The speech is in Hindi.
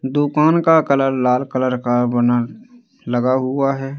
दुकान का कलर लाल कलर का बना लगा हुआ है।